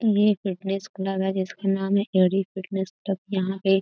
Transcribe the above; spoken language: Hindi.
ये फिटनेस क्लब है जिसका नाम है ए डी फिटनेस क्लब । यहाँ पे --